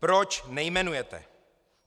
Proč nejmenujete?